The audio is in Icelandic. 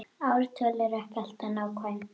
Ártöl eru ekki alltaf nákvæm